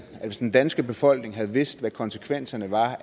at hvis den danske befolkning havde vidst hvad konsekvenserne